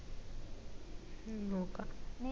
ഉം നോക്കാ